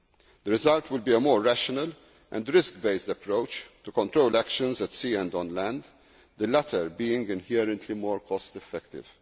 of risks. The result will be a more rational and risk based approach to control actions at sea and on land, the latter being inherently more cost